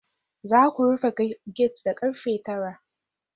Za ku rufe gate da karfe 9